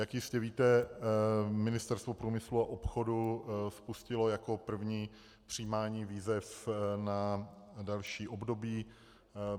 Jak jistě víte, Ministerstvo průmyslu a obchodu spustilo jako první přijímání výzev na další období.